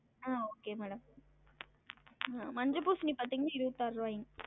ஆஹ் okay madam மஞ்ச பூசணி பாத்தீங்கன்னா இருவத்தாருவாய்ங்க